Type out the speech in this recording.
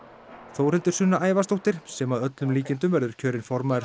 Þórhildur Sunna Ævarsdóttir sem að öllum líkindum verður kjörin formaður